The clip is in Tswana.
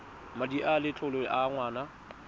madi a letlole a ngwana